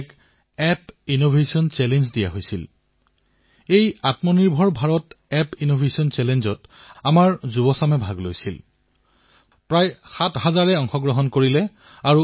যেনে কৰ্ণাটকৰ ৰাম নগৰমত চন্নাপাটনা অন্ধ্ৰ প্ৰদেশৰ কৃষ্ণাত কোণ্ডাপল্লী তামিলনাডুৰ তঞ্জোৰ অসমৰ ধুবুৰী উত্তৰ প্ৰদেশৰ বাৰাণসী এনে বহু স্থান আছে যাৰ নাম উল্লেখ কৰিব পাৰি